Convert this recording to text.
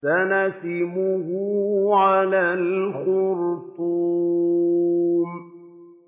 سَنَسِمُهُ عَلَى الْخُرْطُومِ